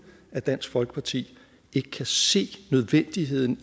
at dansk folkeparti ikke kan se nødvendigheden